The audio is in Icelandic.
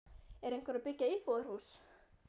Er einhver að byggja íbúðarhús?